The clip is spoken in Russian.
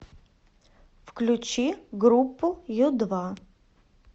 включи группу ю два